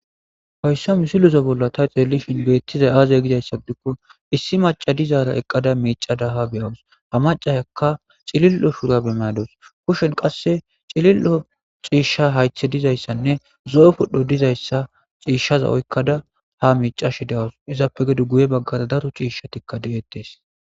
Hoyssa misilezo bolla ta xellishin beettizay aazey gidayssadikko issi maca dizaara eqqada miicada ha beyawus ha macaekka cilil'o shura bemayados kushen qasse cilil'o ciishsha haythe dizayssanne zo'o pudhdho dizayssa ciishshaza oykkada ha miicashi dawus izappe gedu guye baggara daro ciishshatikka deeettees.